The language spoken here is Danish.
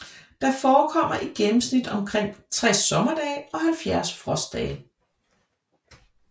Der forekommer i gennemsnit omkring 60 sommerdage og 70 frostdage